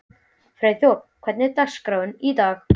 Freyþór, hvernig er dagskráin í dag?